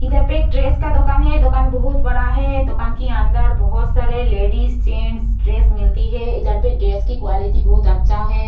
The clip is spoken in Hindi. इधर पे एक ड्रेस का दुकान है। दुकान बहुत बड़ा है। दुकान के अंदर बहुत सारी लेडीज जेंस ड्रेस मिलती है। इधर पे ड्रेस की क्वालिटी बहुत अच्छा है।